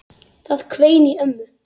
Það hvein í ömmu.